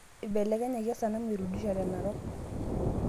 Ibelekenyaki esanamu erudisha tenarok